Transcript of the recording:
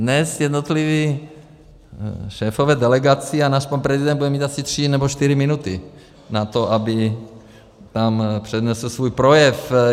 Dnes jednotliví šéfové delegací a náš pan prezident bude mít asi tři nebo čtyři minuty na to, aby tam přednesl svůj projev.